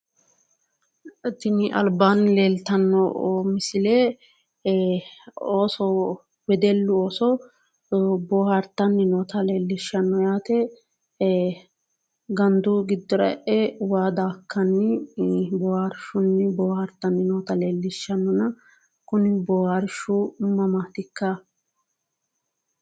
Tini albaanni leeltanno misile ooso wedellu ooso boohaartanni noota leellishanno yaate ee gandu giddora e'e waa daakkanni boohaarshunni boohasrtanno noota leellishanno kuni boohaarshu mamaatikka